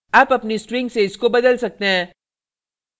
आप अपनी string से इसको बदल सकते हैं